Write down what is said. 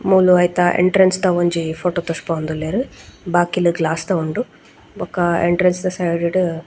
ಮೂಲು ಐತ ಎಂಟ್ರೆನ್ಸ್ ದ ಒಂಜಿ ಫೊಟೊ ತೋಜ್ಪಾವೊಂದುಲ್ಲೆರ್ ಬಾಕಿಲ್ ಗ್ಲಾಸ್ ದ ಉಂಡು ಬೊಕ ಎಂಟ್ರೆನ್ಸ್ ದ ಸೈಡ್ ಡ್ .